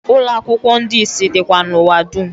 Ụlọakwụkwo ndi isi dikwa n’ụwa dum